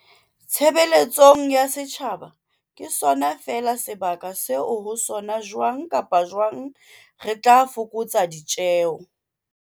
tshe beletsong ya setjhaba ke sona feela sebaka seo ho sona jwang kapa jwang re tla fokotsa ditjeo.